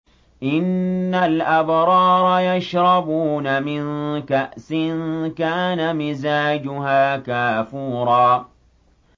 إِنَّ الْأَبْرَارَ يَشْرَبُونَ مِن كَأْسٍ كَانَ مِزَاجُهَا كَافُورًا